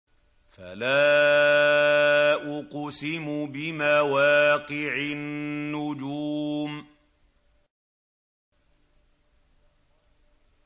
۞ فَلَا أُقْسِمُ بِمَوَاقِعِ النُّجُومِ